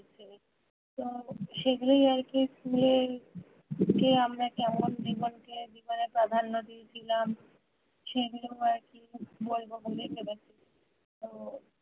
তো সেগুলোই আর কি school এ যে আমরা কেমন জীবন কে জীবনে প্রাধান্য দিয়েছিলাম সেগুলোই আর কি বলবো বলে ভেবেছি তো